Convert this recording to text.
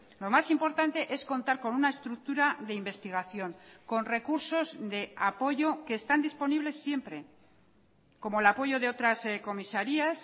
lo más importante es contar con una estructura de investigación con recursos de apoyo que están disponibles siempre como el apoyo de otras comisarías